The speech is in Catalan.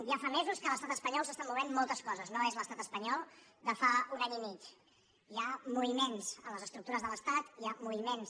ja fa mesos que a l’estat espanyol s’estan movent moltes coses no és l’estat espanyol de fa un any i mig hi ha moviments a les estructures de l’estat hi ha moviments